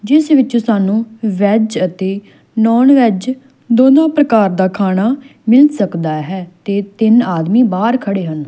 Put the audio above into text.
ਜਿਸ ਵਿੱਚ ਸਾਨੂੰ ਵੈਜ ਅਤੇ ਨੋਨ ਵੈਜ ਦੋਨੋਂ ਪ੍ਰਕਾਰ ਦਾ ਖਾਣਾ ਮਿਲ ਸਕਦਾ ਹੈ ਤੇ ਤਿੰਨ ਆਦਮੀ ਬਾਹਰ ਖੜੇ ਹਨ।